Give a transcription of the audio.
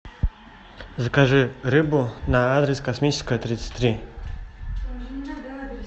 закажи рыбу на адрес космическая тридцать три